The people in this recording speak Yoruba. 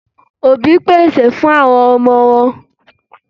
Òbí pèsè fún àwọn ọmọ wọn.